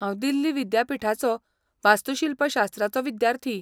हांव दिल्ली विद्यापीठाचो वास्तूशिल्पशास्त्राचो विद्यार्थी.